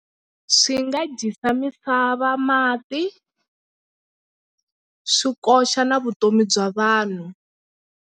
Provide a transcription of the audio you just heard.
Swi nga dyisa misava mati swi koxa na vutomi bya vanhu.